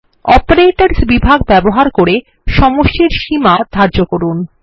অপারেটরসহ বিভাগ ব্যবহার করে সমষ্টিনির্ণয় এর সীমা ধার্য করুন